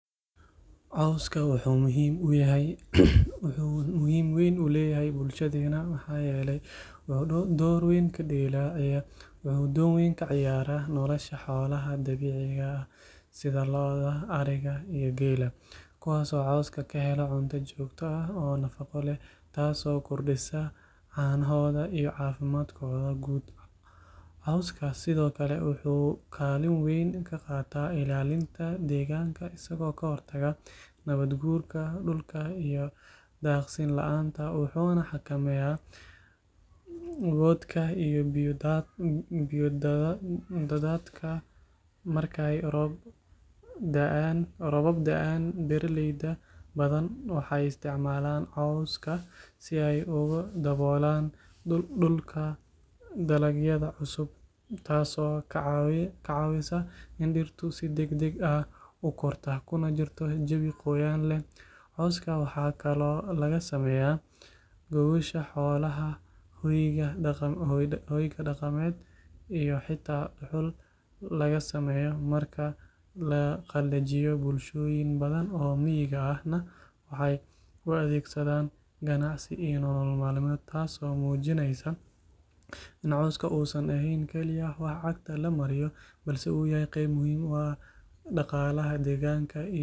Cawska wuxuu muhiim weyn u leeyahay bulshadeena maxaa yeelay wuxuu door weyn ka ciyaaraa nolosha xoolaha dabiiciga ah sida lo’da ariga iyo geela kuwaasoo cawska ka helo cunto joogto ah oo nafaqo leh taasoo kordhisa caanahooda iyo caafimaadkooda guud cawska sidoo kale wuxuu kaalin weyn ka qaataa ilaalinta deegaanka isagoo ka hortaga nabaad guurka dhulka iyo daaqsin la’aanta wuxuuna xakameeyaa boodhka iyo biyo daadadka markay roobab da’aan beeraley badan waxay isticmaalaan cawska si ay ugu daboolaan dhulka dalagyada cusub taasoo ka caawisa in dhirtu si degdeg ah u korto kuna jirto jawi qoyaan leh cawska waxaa kaloo laga sameeyaa gogosha xoolaha hoyga dhaqameed iyo xitaa dhuxul laga sameeyo marka la qalajiyo bulshooyin badan oo miyiga ahna waxay u adeegsadaan ganacsi iyo nolol maalmeed taasoo muujinaysa in cawska uusan ahayn kaliya wax cagta lagu maro balse uu yahay qayb muhiim u ah dhaqaalaha deegaanka iyo jiritaanka nolosha dadka iyo xoolaha.